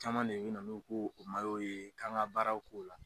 Caman de bi na n'u k'o ye k'an ka baaraw k'o la.